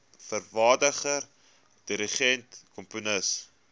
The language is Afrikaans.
vervaardiger dirigent komponis